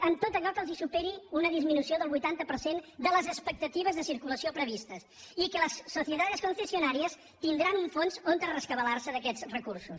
en tot allò que els superi una disminució del vuitanta per cent de les expectatives de circulació previstes i que las sociedades concesionarias tindran un fons on rescabalar se d’aquests recursos